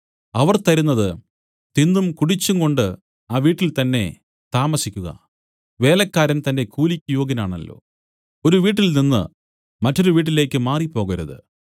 അവർ തരുന്നത് തിന്നും കുടിച്ചുംകൊണ്ടു ആ വീട്ടിൽ തന്നേ താമസിക്കുക വേലക്കാരൻ തന്റെ കൂലിക്ക് യോഗ്യനാണല്ലോ ഒരു വീട്ടിൽനിന്ന് മറ്റൊരു വീട്ടിലേക്ക് മാറിപ്പോകരുതു